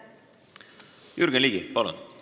Jürgen Ligi, palun!